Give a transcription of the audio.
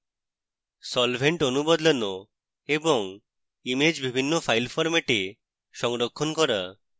solvent অণু সরানো এবং image বিভিন্ন file ফরম্যাটে সংরক্ষণ করা